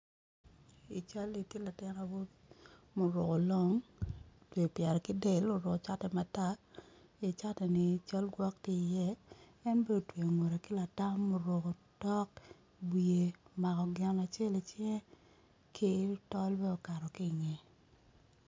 I cali tye latin awobi muruko long otweyo pyere ki del oruko cati matar i cati ni cal gwok tye i iye ene bene otweyo ngute ki latam oruko otok iwiye omako gin acel icinge ki tol bene okato ki ngeye.